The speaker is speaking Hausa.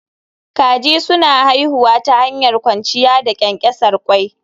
Kaji suna haifuwa ta hanyar kwanciya da ƙyanƙyasar ƙwai